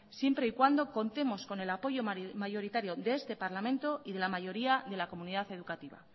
siempre y cuando contemos con el apoyo mayoritario de este parlamento y de la mayoría de la comunidad educativa